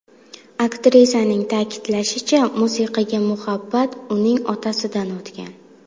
Aktrisaning ta’kidlashicha, musiqaga muhabbat uning otasidan o‘tgan.